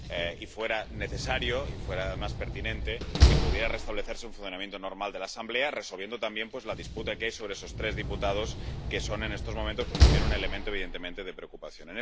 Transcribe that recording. Y sería necesario y sería más pertinente que pudiera restablecerse un funcionamiento normal de la Asamblea, resolviendo también la disputa que hay sobre esos tres diputados que son, en estos momentos, un elemento evidente de preocupación.